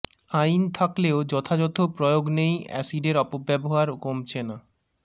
আইন থাকলেও যথাযথ প্রয়োগ নেই এসিডের অপব্যবহার কমছে না